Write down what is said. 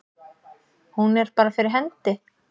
Hún er bara fyrir hendi.